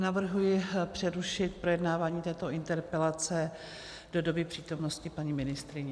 Navrhuji přerušit projednávání této interpelace do doby přítomnosti paní ministryně.